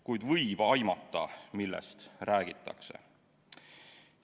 Kuid võib aimata, millest räägitakse.